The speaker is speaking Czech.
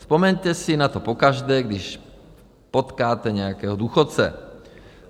Vzpomeňte si na to pokaždé, když potkáte nějakého důchodce.